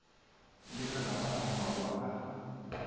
le malapa a mmalwa a